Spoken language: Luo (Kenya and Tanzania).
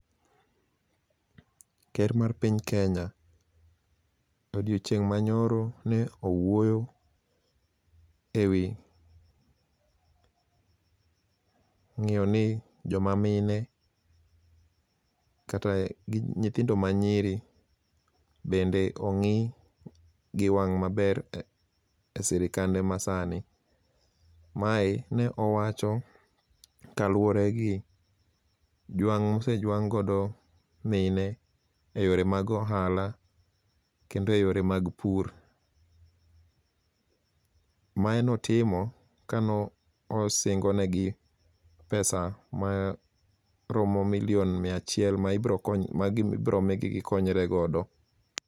Ker mar piny Kenya odiochieng' manyoro ne owuoyo e wi ngi'yo ni joma mine kata gi nyithindo manyiri bende ong'i gi wang' maber e sirikande masani, mae ne owacho kaluore gi jwang' mosejwang' godo mine e yore mag ohala kendo e yore mag pur, mae notimo kane osingonegi pesa maromo million mia achiel ma ibromigi gikonyre godo.